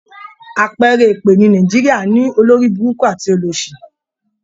À̀pẹẹrẹ èpè ní Nàìjíríà ni, olóríburúkú àti olòṣì.